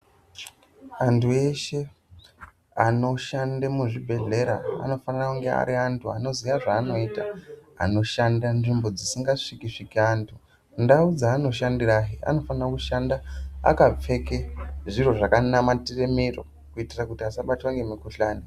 Antu eshe anoshanda muzvibhedhlera anofanira kunge Ari antu anoziya zvaari kuita, anoshanda nzvimbo dzisingasviki -sviki antu ,ndau dzaanoshandira anofana kushanda akapfeka zviro zvakanamatira miro kuitira kuti asabatwa nemikhuhlani.